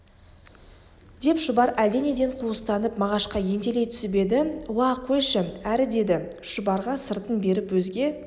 деп шұбар әлденеден қуыстанып мағашқа ентелей түсіп еді уа қойшы әрі деді шұбарға сыртын беріп өзге